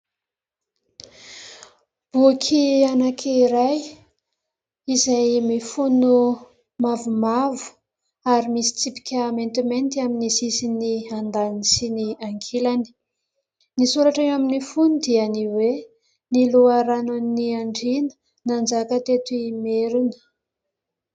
Boky anankiray izay mifono mavomavo ary misy tsipika maintimainty amin'ny sisiny andaniny sy ny ankilany. Ny soratra ao amin'ny fonony dia ny hoe ny loharanon'ny Andriana nanjaka teto Imerina.